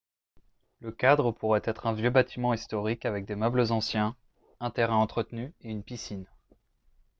le cadre pourrait être un vieux bâtiment historique avec des meubles anciens un terrain entretenu et une piscine